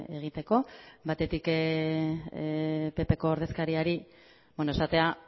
egiteko batetik ppko ordezkariari esatea